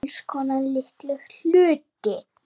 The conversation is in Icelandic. Alls konar litla hluti.